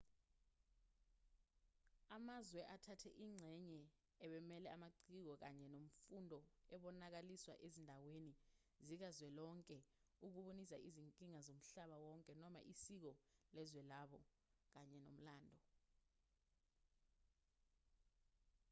amazwe athathe ingxenye abemele amaciko kanye nemfundo ebonakaliswa ezindaweni zikazwelonke ukubonisa izinkinga zomhlaba wonke noma isiko lezwe labo kanye nomlando